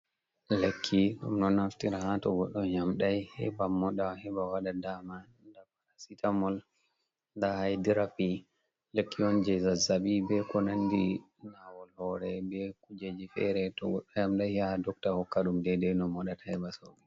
lekki, ɗum do naftira hato goddo yamdai, heba moda, heba wada dama, nda parasita mol, nda haidirappi lekki yonte zazzabi be ko nandi nawol hore, be kujeji fere, to goddo yamdai ya dokta hokkadum dede no mo data heba sauki.